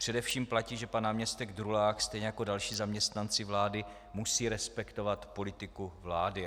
Především platí, že pan náměstek Drulák stejně jako další zaměstnanci vlády musí respektovat politiku vlády.